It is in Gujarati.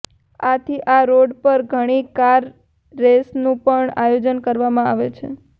આથી આ રોડ પર ઘણી કાર રેસનું પણ આયોજન કરવામાં આવે છે